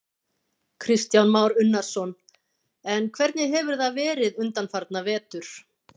Kristján Már Unnarsson: En hvernig hefur það verið undanfarna vetur?